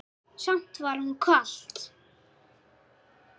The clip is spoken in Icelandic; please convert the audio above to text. Samt var honum kalt.